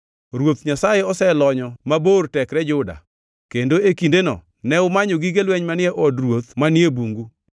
Ruoth Nyasaye oselonyo mabor tekre Juda, kendo e kindeno ne umanyo, gige lweny manie Od Ruoth manie Bungu.